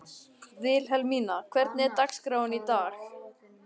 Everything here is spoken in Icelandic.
Vilhelmína, hvernig er dagskráin í dag?